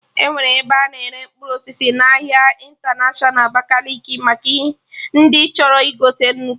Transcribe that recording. Enwere ebe a na-ere mkpụrụ osisi n'ahịa ịntanatiọna Abakaliki maka ndị chọrọ igote nnukwu